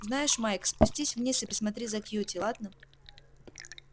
знаешь майк спустись вниз и присмотри за кьюти ладно